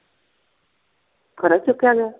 ਘਰੋਂ ਹੀ ਚੁੱਕਿਆ ਗਿਆ?